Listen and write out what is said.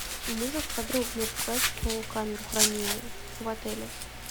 можешь подробнее рассказать про камеру хранения в отеле